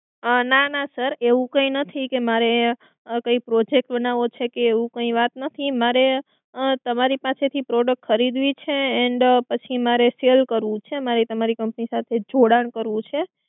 ના ના Sir એવું કઈ નથી કે મારે કઈ Project બનાવો છે કે એવું કઈ વાત નથી મારે તમારી પાસેથી Product ખરીદવી છે and પછી મારે sell કરવું છે. મારે તમારી Company સાથે જોડાણ કરવું છે.